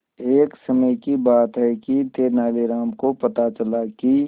एक समय की बात है कि तेनालीराम को पता चला कि